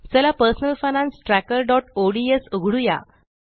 चला personal finance trackerओडीएस उघडुया